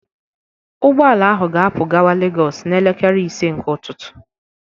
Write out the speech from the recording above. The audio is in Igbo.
Ụgbọ ala ahụ ga-apu gawa Legos n'elekere ise nke ụtụtụ